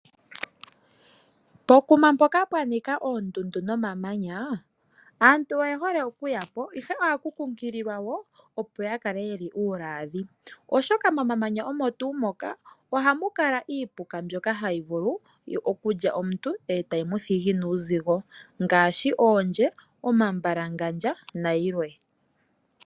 Pokuma mpoka pwa nika oondundu nomamanya aantu oye hole okuya po ihe ohaankunkililwa yakale uulwaadhi, oshoka momamanya omo tuu moka, ohamu kala iipuka ndjoka hayi vulu okulya omuntu etayi muthigi nuuzigo ngaashi oondje, omambalagandja nayilwe.